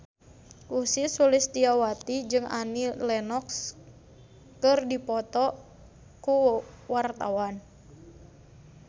Ussy Sulistyawati jeung Annie Lenox keur dipoto ku wartawan